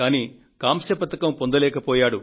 కానీ కాంస్య పతకాన్ని పొందలేకపోయారు